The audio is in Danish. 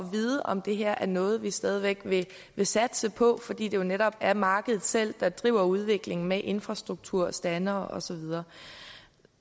at vide om det her er noget vi stadig væk vil satse på fordi det netop er markedet selv der driver udviklingen med infrastruktur standere og så videre